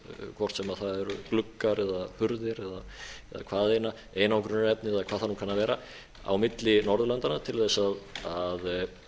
hvort sem það eru gluggar eða hurðir eða hvaðeina einangrunarefni eða hvað það nú kann að vera á milli norðurlandanna til þess að